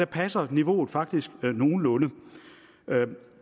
passer niveauet faktisk nogenlunde